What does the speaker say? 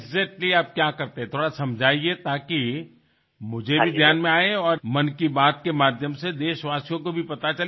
exactly आप क्या करते थे थोड़ा समझिए ताकि मुझे भी ध्यान में आये और मन की बात के माध्यम से देशवासियों को भी पता चले